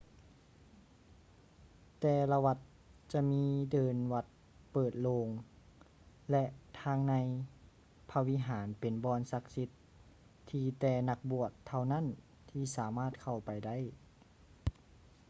ແຕ່ລະວັດຈະມີເດີ່ນວັດເປີດໂລ່ງ ແລະ ທາງໃນພະວິຫານເປັນບ່ອນສັກສິດທີ່ແຕ່ນັກບວດເທົ່ານັ້ນທີ່ສາມາດເຂົ້າໄປໄດ້